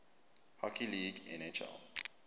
hockey league nhl